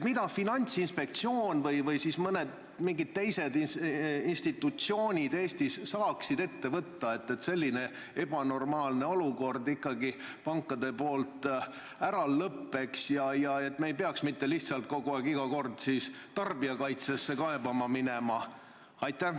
Mida Finantsinspektsioon ja mõned teised institutsioonid Eestis saaksid ette võtta, et selline ebanormaalne olukord pankades ära lõppeks, et isikud ei peaks iga kord tarbijakaitsesse kaebama minema?